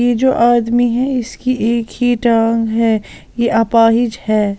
ये जो आदमी है इसकी एक ही टांग है ये अपाहिज है।